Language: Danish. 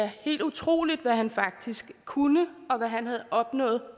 helt utroligt hvad han faktisk kunne og hvad han havde opnået